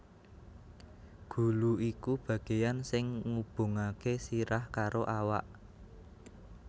Gulu iku bagéan sing ngubungaké sirah karo awak